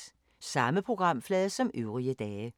Samme programflade som øvrige dage